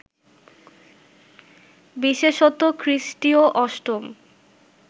বিশেষত খ্রিস্টীয় অষ্টম